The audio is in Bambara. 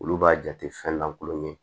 Olu b'a jate fɛn lankolon ye